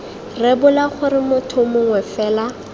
rebola gore motho mongwe fela